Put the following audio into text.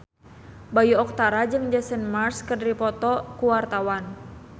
Bayu Octara jeung Jason Mraz keur dipoto ku wartawan